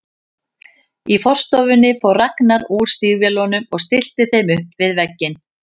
Í forstofunni fór Ragnar úr stígvélunum og stillti þeim upp við vegginn.